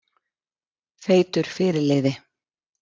Feitur fyrirliði?